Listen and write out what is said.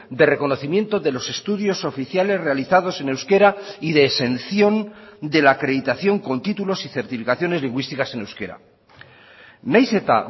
de reconocimiento de los estudios oficiales realizados en euskera y de exención de la acreditación con títulos y certificaciones lingüísticas en euskera nahiz eta